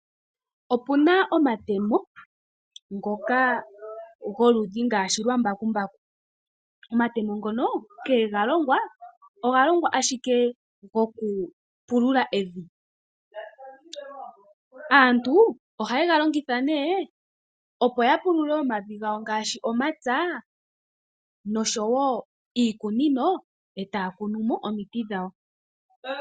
Opu na omatemo goludhi ngaashi lwa mbakumbaku . Omatemo ngono nkene galongwa oga longwa ashike gokupulula evi . Aantu ohaye ga longitha opo ya pulule omavi gawo ngaashi omapya oshowoo iikunino etaya kunu omiti dhawo.